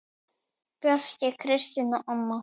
Bjarki, Kristín og Anna.